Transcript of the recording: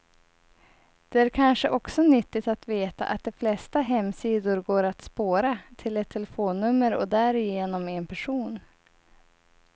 Det är kanske också nyttigt att veta att de flesta hemsidor går att spåra, till ett telefonnummer och därigenom en person.